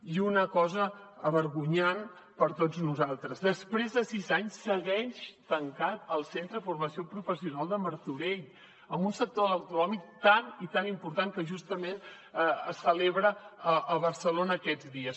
i una cosa vergonyant per a tots nosaltres després de sis anys segueix tancat el centre de formació professional de martorell amb un sector de l’automòbil tan i tan important que justament es celebra a barcelona aquests dies